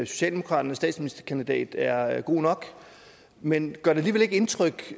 socialdemokraternes statsministerkandidat er er god nok men gør det alligevel ikke indtryk